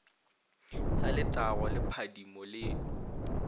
sa letago le phadimo le